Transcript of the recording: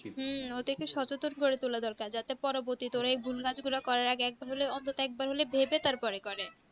হুম ওদেরকে সচতন করে তোলা দরকার যাতে পরে এই ভুল কাজ গুলা করার আগে অবদো এক বার হলেই করে